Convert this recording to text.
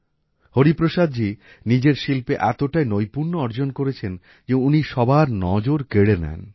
হরিপ্রসাদজী নিজের শিল্পে এতটাই নৈপুণ্য অর্জন করেছেন যে উনি সবার নজর কেড়ে নেন